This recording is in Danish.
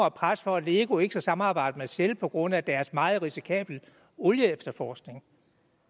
et pres for at lego ikke skulle samarbejde med shell på grund af deres meget risikable olieefterforskning